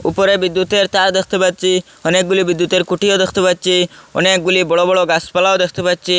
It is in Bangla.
উপরে বিদ্যুতের তার দেখতে পাচ্চি অনেকগুলি বিদ্যুতের খুঁটিও দেখতে পাচ্চি অনেকগুলি বড়ো বড়ো গাসপালাও দেখতে পাচ্চি।